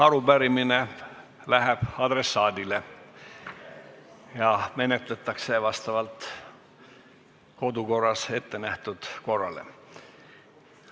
Arupärimine läheb adressaadile ja menetletakse vastavalt kodukorras ettenähtud korrale.